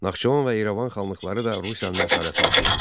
Naxçıvan və İrəvan xanlıqları da Rusiyanın əsarəti altına düşdü.